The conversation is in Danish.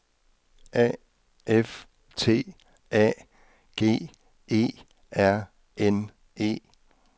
A F T A G E R N E